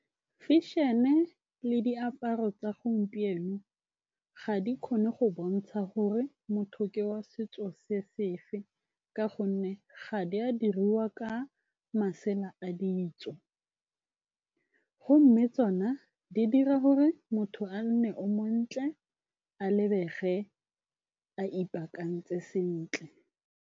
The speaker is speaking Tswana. Fashion-e le diaparo tsa gompieno ga di kgone go bontsha gore motho ke wa setso se se fe ka gonne ga di a diriwa ka masela a ditso, gomme tsona di dira gore motho a nne o montle a lebege a ipaakantse sentle.